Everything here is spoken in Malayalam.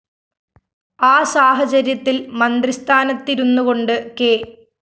ആ സാഹചര്യത്തില്‍ മന്ത്രിസ്ഥാനത്തിരുന്നുകൊണ്ട് കെ